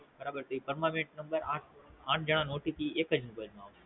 બરાબર છે ઈ Permanent Number આઠ જણા નો OTP એકજ Mobile માં હોય